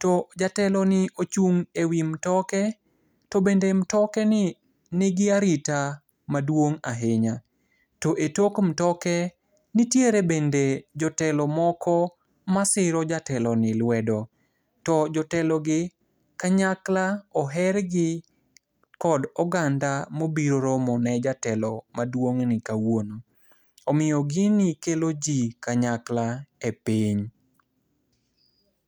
To jateloni ochung' e wi mtoke, to bende mtokeni nigi arita maduong' ahinya. To e tok mtoke nitiere bende jotelo moko masiro jateloni lwedo. To jotelogi kanyakla ohergi kod oganda mobiro romone jatelo maduong'ni kawuono. Omiyo gini kelo ji kanyakla e piny.